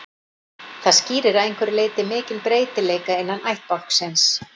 Það skýrir að einhverju leyti mikinn breytileika innan ættbálksins.